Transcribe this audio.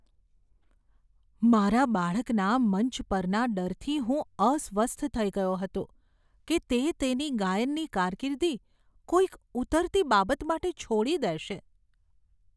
મારા બાળકના મંચ પરના ડરથી હું અસ્વસ્થ થઈ ગયો હતો કે તે તેની ગાયનની કારકિર્દી કોઈક ઉતરતી બાબત માટે છોડી દેશે.